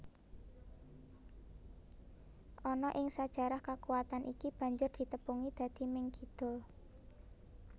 Ana ing sajarah kakuwatan iki banjur ditepungi dadi Ming Kidul